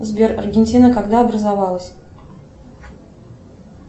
сбер аргентина когда образовалась